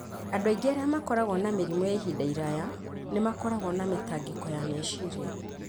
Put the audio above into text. Andũ aingĩ arĩa makoragwo na mĩrimũ ya ihinda iraya nĩ makoragwo na mĩtangĩko ya meciria.